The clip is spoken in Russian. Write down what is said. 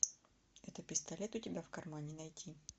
это пистолет у тебя в кармане найти